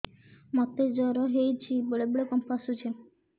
ମୋତେ ଜ୍ୱର ହେଇଚି ବେଳେ ବେଳେ କମ୍ପ ଆସୁଛି